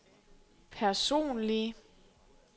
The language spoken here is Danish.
personlige